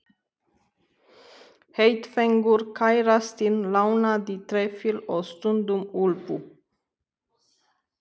Heitfengur kærastinn lánaði trefil og stundum úlpu.